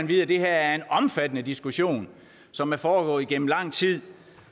vide at det her er en omfattende diskussion som er foregået igennem lang tid